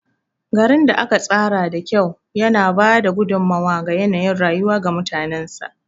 Garin da aka tsara da kyau yana ba da gudummawa ga yanayin rayuwa ga mutanensa.